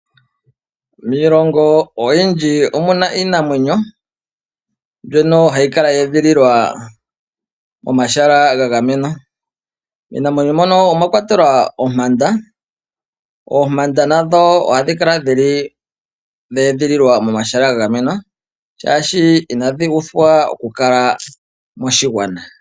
Miilongo oyindji omu na iinamwenyo mbyono hayi kala ye edhililwa momahala ga gamenwa. Miinamwenyo mbyono omwa kwatelwa ompanda. Oompanda ohadhi kala dhe edhililwa momahala ga gamenwa, oshoka inadhi uthwa okukala dhi li moshigwana.